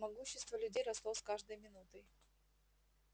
могущество людей росло с каждой минутой